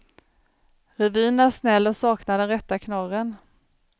Revyn är snäll och saknar den rätta knorren.